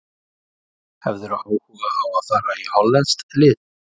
Hefðirðu áhuga á að fara í hollenskt lið?